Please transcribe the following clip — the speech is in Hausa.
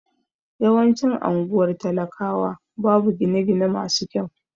Yawancin anguwar talakawa babu gine gine masu kyau